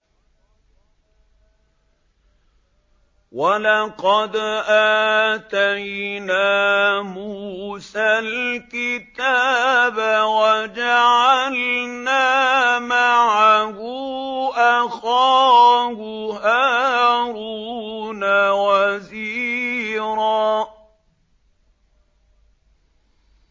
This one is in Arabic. وَلَقَدْ آتَيْنَا مُوسَى الْكِتَابَ وَجَعَلْنَا مَعَهُ أَخَاهُ هَارُونَ وَزِيرًا